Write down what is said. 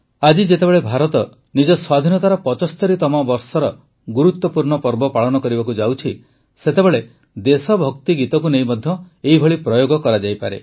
ଆଜି ଯେତେବେଳେ ଭାରତ ନିଜ ସ୍ୱାଧୀନତାର ୭୫ତମ ବର୍ଷର ଗୁରୁତ୍ୱପୂର୍ଣ୍ଣ ପର୍ବ ପାଳନ କରିବାକୁ ଯାଉଛି ସେତେବେଳେ ଦେଶଭକ୍ତି ଗୀତକୁ ନେଇ ମଧ୍ୟ ଏଭଳି ପ୍ରୟୋଗ କରାଯାଇପାରେ